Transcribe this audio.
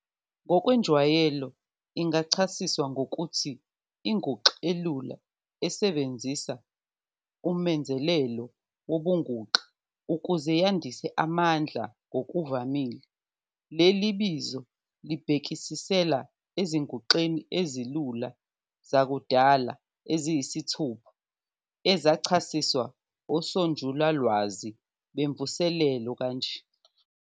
Ngokwenjwayelo, ingachasiswa ngokuthi inguxa elula esebenzisa umenzelelo wobunguxa ukuze yandise amandla. Ngokuvamile, leli bizo libhekisela ezinguxeni ezilula zakudala eziyisithupha ezachasiswa osonjulalwazi bemvuselelo kanje.